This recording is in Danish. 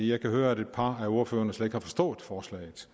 jeg kan høre at et par af ordførerne slet ikke har forstået forslaget